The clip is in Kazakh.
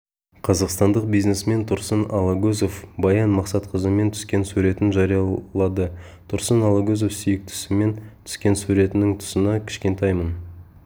қазақстандық бизнесмен тұрсын алагөзов баян мақсатқызымен түскен суретін жариялады тұрсын алагөзов сүйіктісімен түскен суретінің тұсына кішкентайым